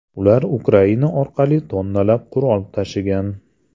Ular Ukraina orqali tonnalab qurol tashigan.